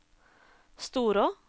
Storå